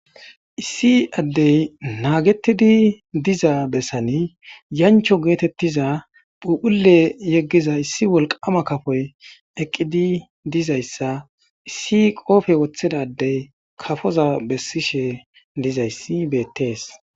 Issi ade naagetidi diza besan yancho geetetiza phuphule yegiza issi wolqama kafoy eqidi dizaysa issi qoophe wothida adde kafoza besishe dizaysi beetes.